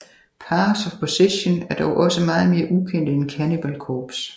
Paths Of Possesion er dog også meget mere ukendte end Cannibal Corpse